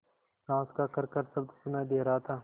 साँस का खरखर शब्द सुनाई दे रहा था